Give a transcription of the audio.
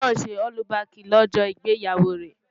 Ọmọ náà ṣe ọ́lúbaàkì lọ́jọ́ ìgbéyàwó rẹ̀.